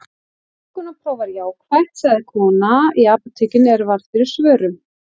Þungunarprófið var jákvætt, sagði kona í apótekinu er varð fyrir svörum.